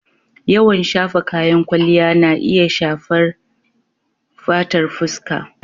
Yawan shafa kayan kwalliya na iya shafar fatar fuska.